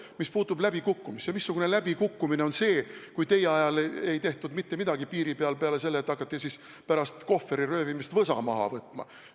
Mis puutub läbikukkumisse, siis missugune läbikukkumine on see, et teie ajal ei tehtud mitte midagi piiri peal peale selle, et hakati pärast Kohvri röövimist võsa maha võtma.